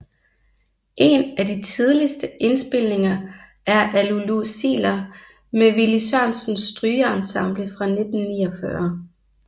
En af de tidligste indspilninger er af Lulu Ziegler med Willy Sørensens Strygeensemble fra 1949